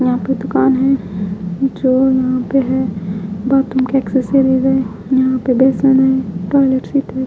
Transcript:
यहाँ पे दुकान है जो यहाँ पे है --